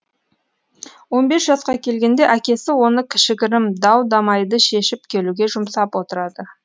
он бес жасқа келгенде әкесі оны кішігірім дау дамайды шешіп келуге жұмсап отырады